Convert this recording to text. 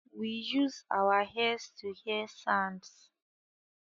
We use our ears to hear sounds